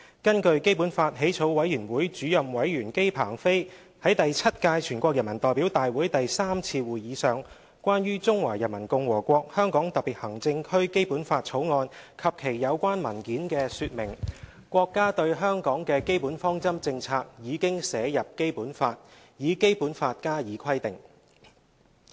根據基本法起草委員會主任委員姬鵬飛在第七屆全國人民代表大會第三次會議上關於《中華人民共和國香港特別行政區基本法》及其有關文件的說明，國家對香港的基本方針政策已經寫入《基本法》，以《基本法》加以規定。